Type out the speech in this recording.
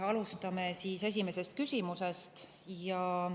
Alustame esimesest küsimusest.